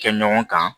Kɛ ɲɔgɔn kan